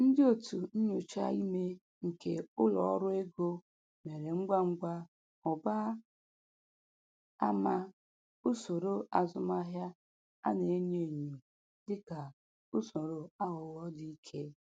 Ndị otu nnyocha ime nke ụlọ ọrụ ego mere ngwa ngwa hụba ama usoro azụmahịa a na-enyo enyo dịka usoro aghụghọ dị ike.